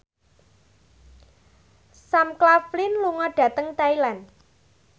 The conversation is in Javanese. Sam Claflin lunga dhateng Thailand